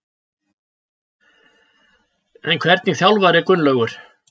En hvernig þjálfari er Gunnlaugur?